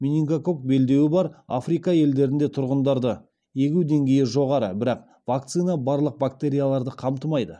менингококк белдеуі бар африка елдерінде тұрғындарды егу деңгейі жоғары бірақ вакцина барлық бактерияларды қамтымайды